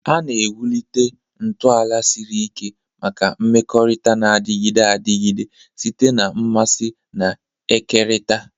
A na-ewulite ntọala siri ike maka mmekọrịta na-adịgide adịgide site na mmasị na-ekerịta.